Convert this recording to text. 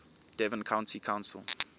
devon county council